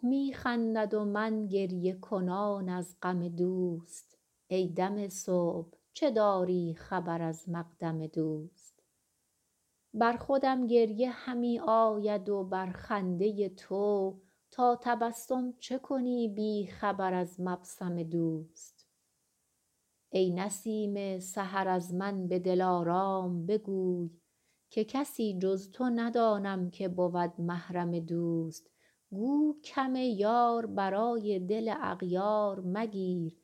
صبح می خندد و من گریه کنان از غم دوست ای دم صبح چه داری خبر از مقدم دوست بر خودم گریه همی آید و بر خنده تو تا تبسم چه کنی بی خبر از مبسم دوست ای نسیم سحر از من به دلارام بگوی که کسی جز تو ندانم که بود محرم دوست گو کم یار برای دل اغیار مگیر